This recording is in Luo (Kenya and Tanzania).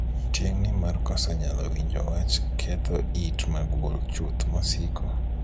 Tieng'ni mar koso nyalo winjo wach ketho it magul chuth mosiko.